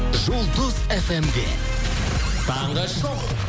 жұлдыз фм де таңғы шоу